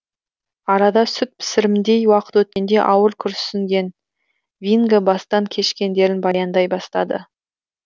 арада сүт пісірімдей уақыт өткенде ауыр күрсінген винго бастан кешкендерін баяндай бастады